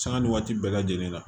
Sanga ni waati bɛɛ lajɛlen na